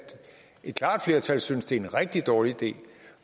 et klart flertal synes at det er en rigtig dårlig idé